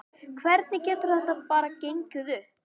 Hvernig getur þetta bara gengið upp?